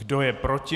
Kdo je proti?